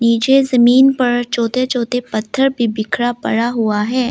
पीछे जमीन पर छोटे छोटे पत्थर भी बिखरा पड़ा हुआ है।